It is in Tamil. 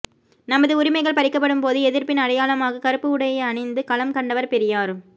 நமது உரிமைகள் பறிக்கப்படும்போது எதிர்ப்பின் அடையாளமாக கருப்பு உடையை அணிந்து களம் கண்டவர் பெரியார்